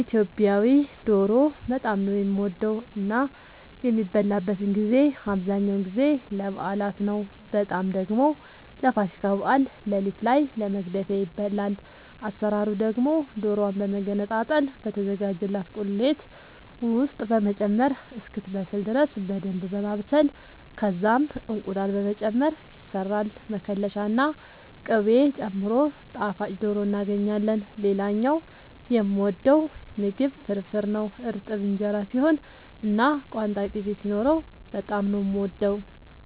ኢትዮጵያዊ ዶሮ በጣም ነው የምወደው እና የሚበላበትን ጊዜ አብዛኛውን ጊዜ ለበዓላት ነው በጣም ደግሞ ለፋሲካ በዓል ሌሊት ላይ ለመግደፊያ ይበላል። አሰራሩ ደግሞ ዶሮዋን በመገነጣጠል በተዘጋጀላት ቁሌት ውስጥ በመጨመር እስክትበስል ድረስ በደንብ በማብሰል ከዛም እንቁላል በመጨመር ይሰራል መከለሻ ና ቅቤ ጨምሮ ጣፋጭ ዶሮ እናገኛለን። ሌላኛው የምወደው ምግብ ፍርፍር ነው። እርጥብ እንጀራ ሲሆን እና ቋንጣ ቅቤ ሲኖረው በጣም ነው የምወደው።